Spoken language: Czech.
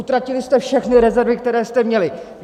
Utratili jste všechny rezervy, které jste měli!